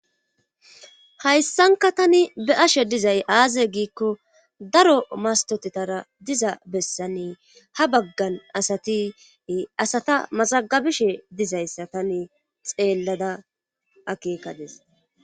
Hayssanka tani be'ashe dizay aaze giikko daro mastotetara diza bessanne haa baggan asati asata mazagabishe dizayssa tane xeellada akeekadis